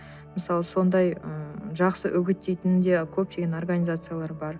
мысалы сондай ы жақсы үгіттейтін де көптеген организациялар бар